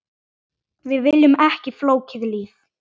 Við viljum ekki flókið líf.